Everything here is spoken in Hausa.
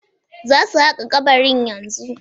Za su haƙa kabarin yanzu